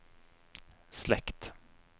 slekt